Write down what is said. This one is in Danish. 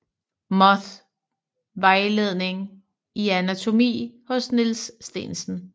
Moth vejledning i anatomi hos Niels Stensen